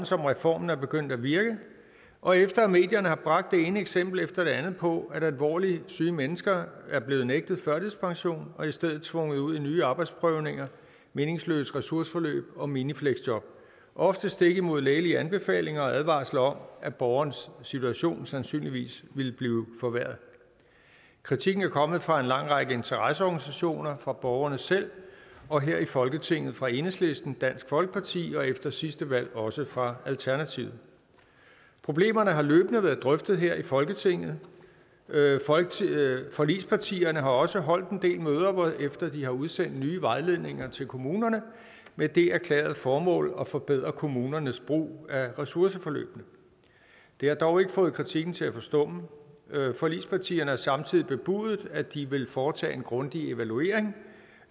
som reformen er begyndt at virke og efter at medierne har bragt det ene eksempel efter det andet på at alvorligt syge mennesker er blevet nægtet førtidspension og i stedet tvunget ud i nye arbejdsprøvninger meningsløse ressourceforløb og minifleksjob ofte stik imod lægelige anbefalinger og advarsler om at borgerens situation sandsynligvis ville blive forværret kritikken er kommet fra en lang række interesseorganisationer fra borgerne selv og her i folketinget fra enhedslisten dansk folkeparti og efter sidste valg også fra alternativet problemerne har løbende været drøftet her i folketinget forligspartierne har også holdt en del møder hvorefter de har udsendt nye vejledninger til kommunerne med det erklærede formål at forbedre kommunernes brug af ressourceforløbene det har dog ikke fået kritikken til at forstumme forligspartierne har samtidig bebudet at de vil foretage en grundig evaluering